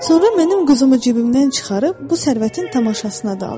Sonra mənim quzumu cibimdən çıxarıb bu sərvətin tamaşasına daldı.